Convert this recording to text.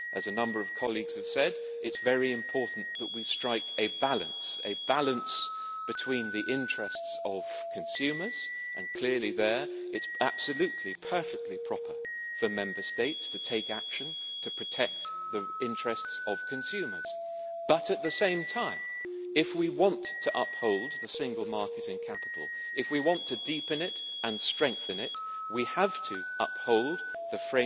As a number of colleagues have said, it is very important that we strike a balance between the interests of consumers and clearly there it is absolutely and perfectly proper for Member States to take action to protect the interests of consumers but, at the same time, if we want to uphold the single market in capital, if we want to deepen it and strengthen it, we have to uphold the